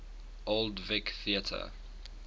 old vic theatre